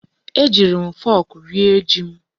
Ejiiri m fọk rie ji m.